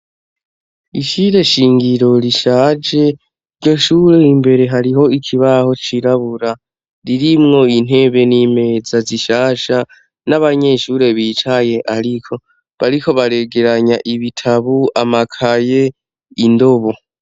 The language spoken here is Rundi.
Ishure shingiro rishaje, iryo shure imbere hariho ikibaho cirabura, ririmwo intebe n’imeza zishasha n’abanyeshure bicaye ariko bariko baregeranya ibitabo, amakaye , indobo.